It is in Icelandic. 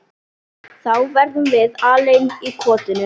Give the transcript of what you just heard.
Þá verðum við alein í kotinu.